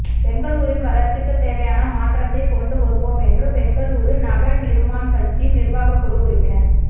பெங்களூரின் வளர்ச்சிக்கு தேவையான மாற்றத்தைக் கொண்டு வருவோம் என்று பெங்களூரு நவ நிர்மாண் கட்சியின் நிர்வாக குழு உறுப்பினர்